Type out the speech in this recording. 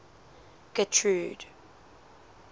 getrude